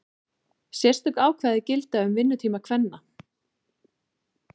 Sérstök ákvæði gilda um vinnutíma kvenna.